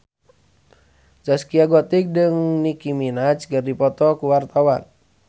Zaskia Gotik jeung Nicky Minaj keur dipoto ku wartawan